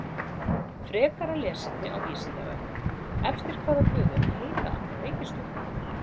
Frekara lesefni á Vísindavefnum: Eftir hvaða guðum heita allar reikistjörnurnar?